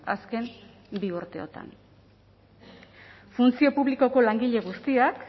azken bi urteotan funtzio publikoko langile guztiak